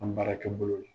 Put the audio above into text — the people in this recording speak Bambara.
An baarakɛ bolo la